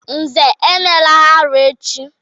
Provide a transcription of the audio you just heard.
Nze, emela arụ echi!